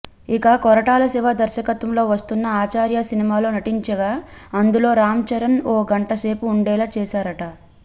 ఇక కొరటాల శివ దర్శకత్వంలో వస్తున్నా ఆచార్య సినిమాలో నటించగా అందులో రామ్ చరణ్ ఓ గంటసేపు ఉండేలా చేశారట